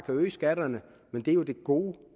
øge skatterne men det er jo det gode